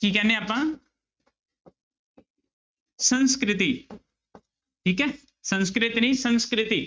ਕੀ ਕਹਿੰਦੇ ਹਾਂ ਆਪਾਂ ਸੰਸਕ੍ਰਿਤੀ ਠੀਕ ਹੈ ਸੰਸਕ੍ਰਿਤ ਨੀ ਸੰਸਕ੍ਰਿਤੀ